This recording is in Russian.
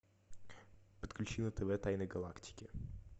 подключи на тв тайны галактики